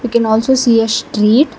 can also see a street.